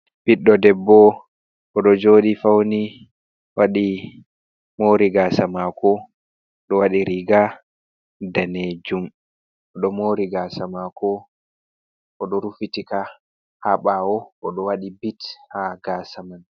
Ɓiɗɗo debbo oɗo joɗi fauni waɗi mori gasa mako oɗo waɗi riga danejum, oɗo mori gasa mako oɗo rufitika ha ɓawo, oɗo waɗi bit ha gasa man.